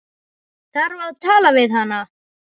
Þarf að tala við hana.